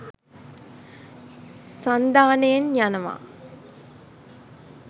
සන්ධානයෙන් යනවා.